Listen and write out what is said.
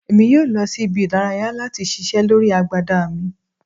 Emi yoo lọ si ibi-idaraya lati ṣiṣẹ lori agbada mi